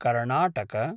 Karnataka